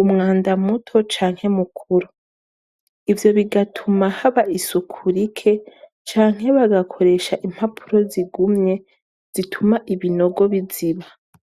umwanda muto canke mukuru ivyo bigatuma haba isuku rike canke bagakoresha impapuro zigumye zituma ibinogo biziba.